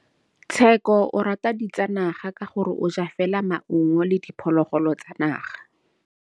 Tshekô o rata ditsanaga ka gore o ja fela maungo le diphologolo tsa naga.